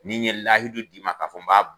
N'i ye lahidu d'i ma ka fɔ n b'a